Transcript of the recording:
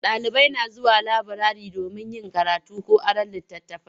Ɗalibai na zuwa laburare domin yin karatu ko aron litattafai.